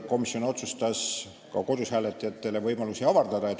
Komisjon otsustas ka kodus hääletajate võimalusi avardada.